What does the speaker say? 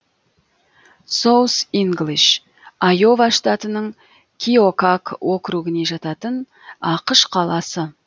соус инглиш айова штатының киокак округіне жататын ақш қаласы